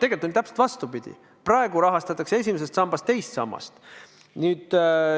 Tegelikult on täpselt vastupidi: praegu rahastatakse esimesest sambast teist sammast.